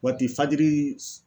Waati fajiri s